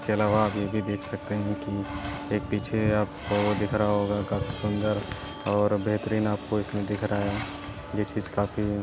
फैला हुआ है आप ये भी देख सकते है की एक पीछे आपको दिख रहा होगा काफी सुन्दर और बेहतरीन आपको इसमें दिख रहा है ये चीज काफी --